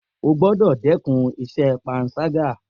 O gbọ́dọ̀ dẹ́kun ìṣe panṣágà